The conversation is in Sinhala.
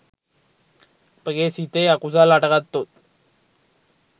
අපගේ සිතේ අකුසල් හටගත්තොත්